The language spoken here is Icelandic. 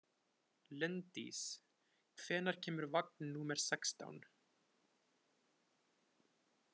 Linddís, hvenær kemur vagn númer sextán?